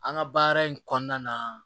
An ka baara in kɔnɔna na